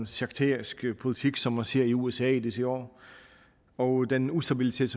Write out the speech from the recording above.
sekterisk politik som man ser i usa i disse år og den ustabilitet